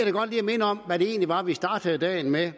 minde om hvad det egentlig var vi startede dagen med